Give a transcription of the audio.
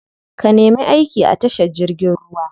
Ka nemi aiki a tashar jirgin ruwa.